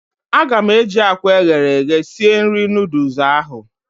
A ga m eji akwa eghere eghe sie nri noodles ahụ